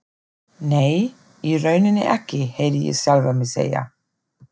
Nei, í rauninni ekki, heyrði ég sjálfan mig segja.